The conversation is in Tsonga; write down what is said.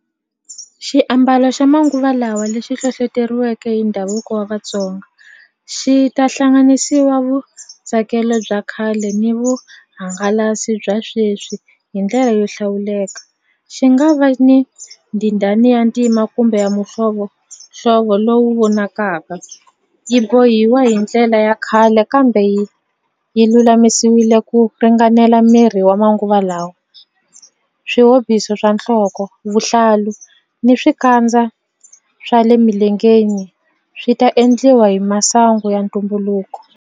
Xiambalo xa manguva lawa lexi hlohloteriweke hi ndhavuko wa Vatsonga xi ta hlanganisiwa vutsakelo bya khale ni vuhangalasi bya sweswi hi ndlela yo hlawuleka xi nga va ni ndhindani ya ntima kumbe ya mihlovohlovo lowu vonakaka yi bohiwa hi ndlela ya khale kambe yi yi lulamisiwile ku ringanela miri wa manguva lawa swihobiso swa nhloko vuhlalu ni swikandza swa le milengeni swi ta endliwa hi masangu ya ntumbuluko.